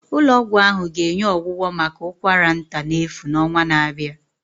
Ụlọ ọgwụ ahụ ga-enye ọgwụgwọ maka ụkwara nta n'efu n'ọnwa na-abịa